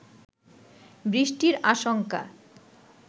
বৃষ্টির আশঙ্কা